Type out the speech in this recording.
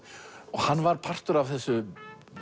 hann var partur af þessu